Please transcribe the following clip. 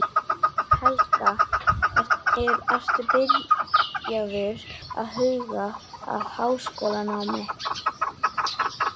Helga: Ertu byrjaður að huga að háskólanámi?